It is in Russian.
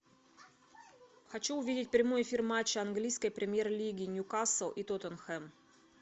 хочу увидеть прямой эфир матча английской премьер лиги ньюкасл и тоттенхэм